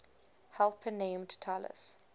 helper named talus